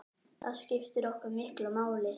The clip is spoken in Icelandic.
Það skiptir okkur miklu máli.